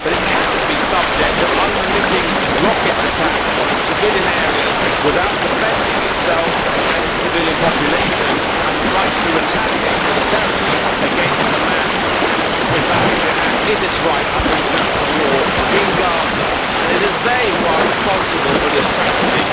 But it cannot be subject to unremitting rocket attacks on its civilian areas without defending itself and its civilian population, and the right to retaliate militarily against Hamas and Islamic Jihad is its right under international law in Gaza and it is they who are responsible for this tragedy.